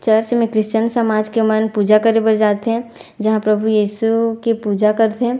Church में Christian समाज के मन पूजा करे बर जात हे जहाँ प्रभु यशु के पूजा करथे।